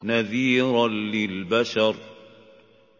نَذِيرًا لِّلْبَشَرِ